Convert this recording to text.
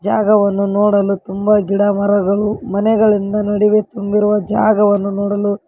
ಜಾಗವನ್ನು ನೋಡಲು ತುಂಬಾ ಗಿಡ ಮರಗಳು ಮನೆಗಳಿಂದ ನಡಿವೆ ತುಂಬಿರುವ ಜಾಗವನ್ನು ನೋಡಲು--